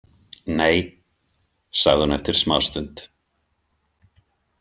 Nei, sagði hún eftir smástund.